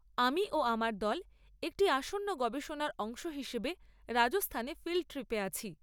আমি ও আমার দল একটি আসন্ন গবেষণার অংশ হিসেবে রাজস্থানে ফিল্ড ট্রিপে আছি।